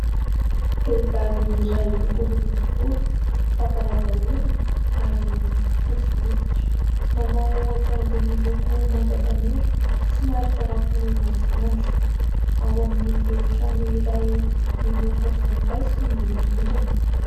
Vehivavy iray olioly volo, lavalava orona ary fotsy hoditra, manao akanjo miloko manga tanora somary tarafin' ny masoandro. Ao amin'ny efitrano iray, miloko volom-paiso ny rindrina.